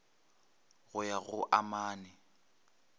go ya go a mane